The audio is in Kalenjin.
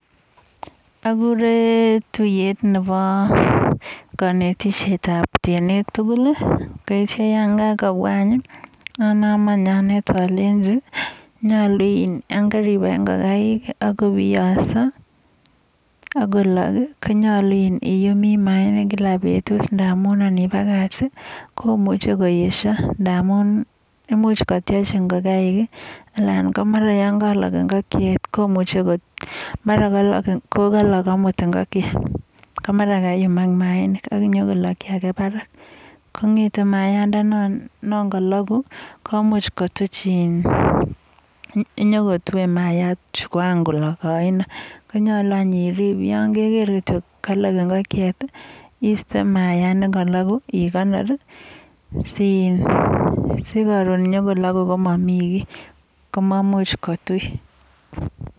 Agure tuiyet nebo kanetishet ab temik tugul, neityo yon kakobwa anyun aname any anet aleji yon karibai ingokaik, akobiyonso, akolog, konyalu koyum mayainik kila betut ngamun ngipakach komuchei koyeshio. Imuch kotiech ingokaik anan ko mara yon kalog ingokiet komuchei mara kokalog amut, ko mara kaiyumak mayainik ak nyo kologchi ake parak. Kongetei mayayandano kalogu komuch kotuch in, yokotuei mayayat chon kakolog oino. Konyalu nyun irib, yon keger ile kalog ingokchet iiste mayayat nekalogu ikonor sikaron nyo kolagu, komami kiy komamuch kotui.